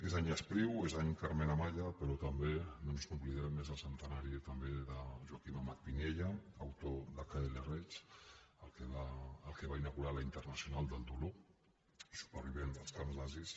és any espriu és any carmen amaya però també no ens n’oblidem és el centenari també de joaquim amat piniella autor de kl reich el que va inaugurar la internacional del dolor supervivent dels camps nazis